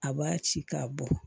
A b'a ci k'a bɔ